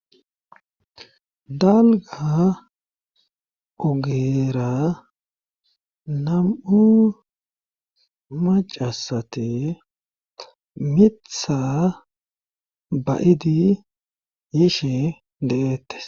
dalga ogera nam7u macasate mitha bayidi yishe de7eettes